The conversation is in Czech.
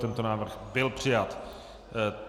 Tento návrh byl přijat.